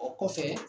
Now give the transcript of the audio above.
O kɔfɛ